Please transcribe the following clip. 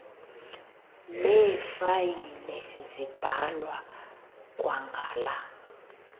neefayile zibhalwa kwangala